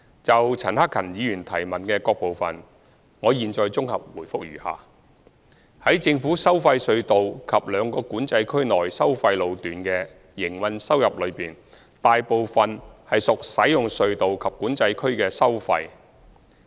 就陳克勤議員質詢的各部分，我現綜合答覆如下：在政府收費隧道及兩個管制區內收費路段的營運收入中，大部分屬使用隧道及管制區的收費。